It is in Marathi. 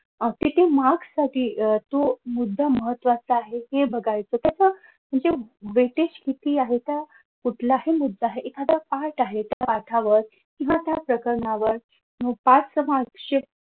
objective marks साठी अह तो मुद्धा महत्वाचा आहे ते बघायचं कस तर weight age किती आहे तर कुठलाही मुद्दा एखादा पाठ आहे तर त्या पाठावर किंवा त्या प्रकरणावर च mark sheet